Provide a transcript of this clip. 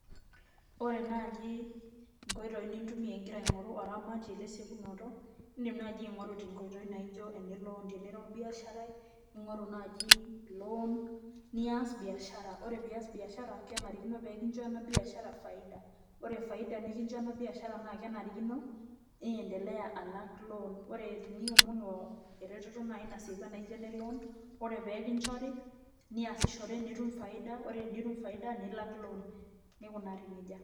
Ore naaji nkoitoi nintumiya ingira aingoru oramatie lesiekunoto ,indim naaji aingoru tenkoitoi naijo ene loan tenaa ira olbiasharai ,ningoru naaji loan nias biashara ,ore pee iyas biashara kenarikino nikincho ena biashara faida, ore faida nikincho ena biashara naa kenare niendelea alak ena loan ore teniomonu eretoto naaji nasieku anaa ene loan ore epee kinchori niasishore nitum faida ore tenitum faida nilak loan neikunari nejia.